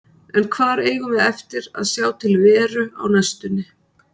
En hvar eigum við eftir að sjá til Veru á næstunni?